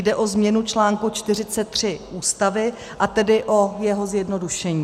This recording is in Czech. Jde o změnu článku 43 Ústavy, a tedy o jeho zjednodušení.